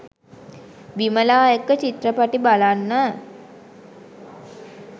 විමලා එක්ක චිත්‍රපටි බලන්න